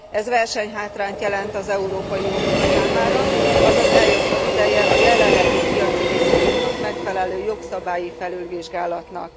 Ez versenyhátrányt jelent az Európai Unió számára, azaz eljött az ideje a jelenlegi piaci viszonyoknak megfelelő jogszabályi felülvizsgálatnak.